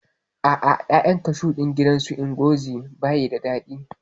A'a, ƴaƴan bishiyar kashu ɗin gidan su Ngozi bai da daɗi